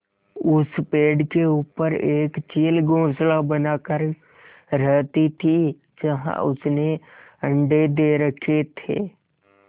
उस पेड़ के ऊपर एक चील घोंसला बनाकर रहती थी जहाँ उसने अंडे दे रखे थे